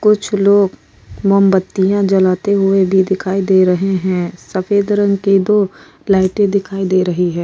कुछ लोग मोमबत्तियां जलाते हुए भी दिखाई दे रहे हैं सफ़ेद रंग की दो लाइटें दिखाई दे रही है।